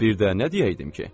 Bir də nə deyərdim ki?